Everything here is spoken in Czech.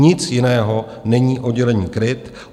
Nic jiného není oddělení KRIT.